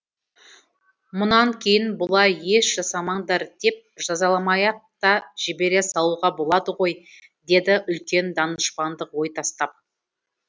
мұнан кейін бұлай еш жасамаңдар деп жазаламай ақ та жібере салуға болады ғой деді үлкен данышпандық ой тастап